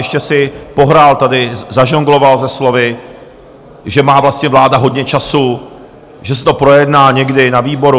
Ještě si pohrál tady, zažongloval se slovy, že má vlastně vláda hodně času, že se to projedná někdy na výboru.